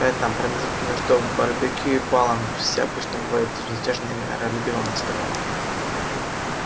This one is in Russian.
в этом промежутке между барбекю и балом все обычно бывали безмятежно и миролюбиво настроены